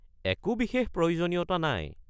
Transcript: একো বিশেষ প্রয়োজনীয়তা নাই।